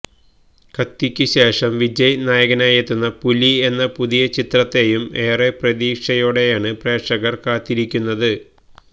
കത്തിയ്ക്ക് ശേഷം വിജയ് നായകനായെത്തുന്ന പുലി എന്ന പുതിയ ചിത്രത്തെയും ഏറെ പ്രതീക്ഷയോടെയാണ് പ്രേക്ഷകര് കാത്തിരിയ്ക്കുന്നത്